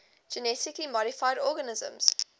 genetically modified organisms